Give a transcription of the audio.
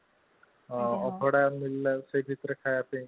ଅବଢା ମିଳିଲା ସେଇ ଭିତରେ ଖାଇବା ପାଇଁ